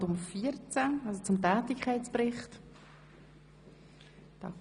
Wir kommen zu Traktandum 15, über welches wir von Grossrätin Gygax bereits entsprechend informiert wurden.